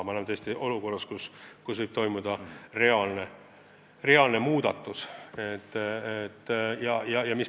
Me oleme tõesti olukorras, kus võib toimuda reaalne muutus.